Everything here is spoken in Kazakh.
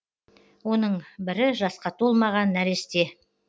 оның бірі жасқа толмаған нәресте